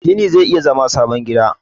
gini zai iya zama sabon gida